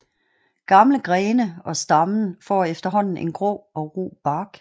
Gamle grene og stammen får efterhånden en grå og ru bark